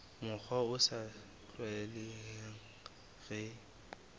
mokgwa o sa tlwaelehang re